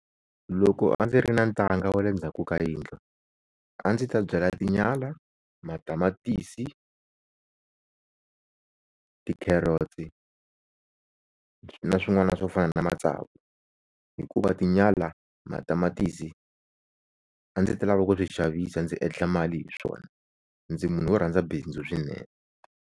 Loko a ndzi ri na ntanga wa le ndzhaku ka yindlu a ndzi ta byala tinyala, matamatisi, ti-carrots na swin'wana swo fana na matsavu, hikuva tinyala, matamatisi a ndzi ta lava ku swi xavisa ndzi endla mali hi swona ndzi munhu wo rhandza bindzu swinene.